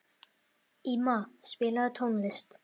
Íma, spilaðu tónlist.